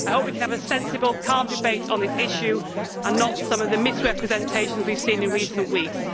I hope we can have a sensible calm debate on this issue and not some of the misrepresentations we have seen in recent weeks.